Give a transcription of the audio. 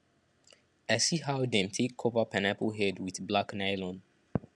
i see how dem take cover pineapple head with black nylon